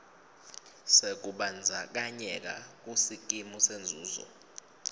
sekubandzakanyeka kusikimu senzuzo